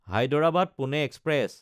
Hyderabad Pune express